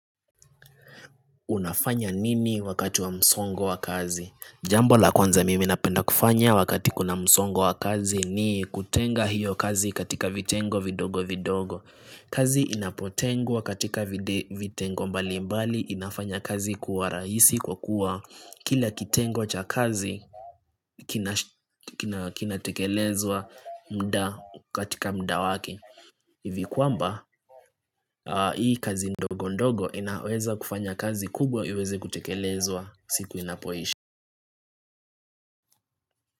Unafanya nini wakati wa msongo wa kazi? Jambo la kwanza mimi napenda kufanya wakati kuna msongo wa kazi ni kutenga hiyo kazi katika vitengo vidogo vidogo. Kazi inapotengwa katika vitengo mbalimbali inafanya kazi kuwa raisi kwa kua kila kitengo cha kazi kinatekelezwa mda katika mda wake. Hivi kwamba hii kazi ndogo ndogo inaweza kufanya kazi kubwa iweze kutekelezwa siku inapoisha.